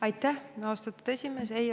Aitäh, austatud esimees!